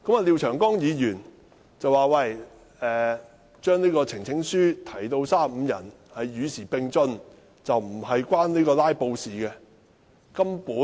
廖議員說把提交呈請書的最低人數增至35人是與時並進，與"拉布"無關。